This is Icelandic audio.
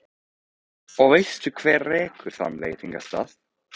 Og veistu hver rekur þann veitingastað?